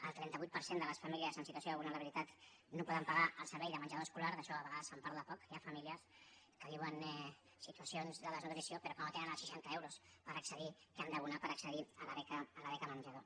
el trenta vuit per cent de les famílies en situació de vulnerabilitat no poden pagar el servei de menjador escolar d’això a vegades se’n parla poc hi ha famílies que viuen situacions de desnutrició però com que no tenen els seixanta euros que han d’abonar per accedir a la beca menjador